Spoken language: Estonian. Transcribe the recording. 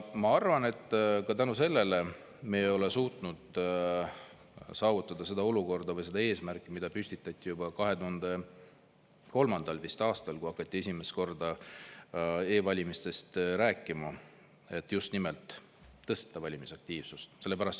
Ma arvan, et ka sellel põhjusel me ei ole suutnud saavutada seda olukorda või seda eesmärki, mis püstitati juba 2003. aastal, kui hakati esimest korda e-valimistest rääkima: et tõstame valimisaktiivsust.